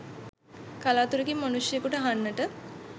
කළාතුරකින් මනුෂ්‍යයෙකුට අහන්නට